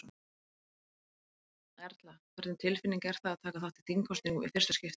Erla: Hvernig tilfinning er það að taka þátt í þingkosningum í fyrsta skipti?